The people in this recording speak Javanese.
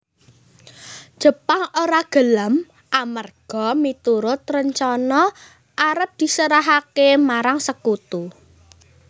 Jepang ora gelem amerga miturut rencana arep diserahaké marang Sekutu